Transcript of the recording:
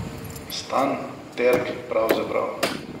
Stan Terg pravzaprav.